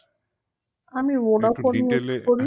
আমি